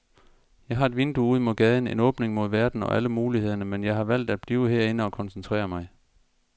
Jeg har et vindue ud mod gaden, en åbning mod verden og alle mulighederne, men jeg har valgt at blive herinde og koncentrere mig.